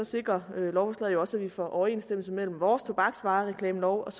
sikrer lovforslaget jo også at vi får overensstemmelse mellem vores tobaksreklamelov og